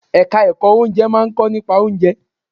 Ẹ̀ka ẹ̀kọ́ Oúnjẹ máà ń kọ́ nípa oúnjẹ.